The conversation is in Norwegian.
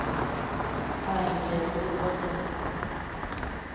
Er ikke tilsynet godt nok?